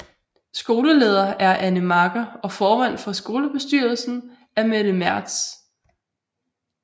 Skoleleder er Anne Marker og formand for skolebestyrelsen er Mette Mertz